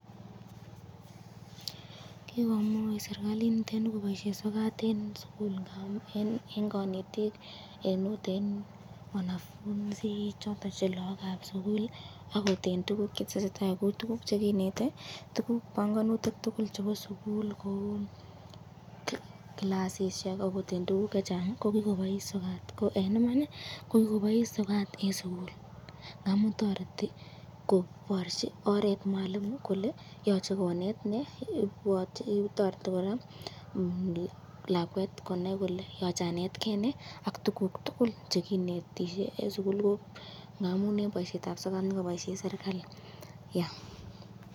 Kikomuch sieekalit niteni koboisyen sokat eng sukul, eng kanetik ,akot eng wanafunzi akot eng tukuk chetesetai akot tukuk chekinete, panganutik tukul chebo sukul kou clasisyek, ak eng tukuk chechang ko kikobois sokat ,,ko eng Imani kokikobaise sokat eng sukul. ngamun toreti kobarchi oret mwalimu kole yochei konet nee .